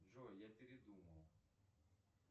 джой я передумал